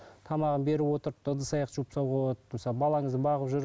тамағын беріп отырып та ыдыс аяқ жуып тастауға болады мысалы балаңызда бағып жүріп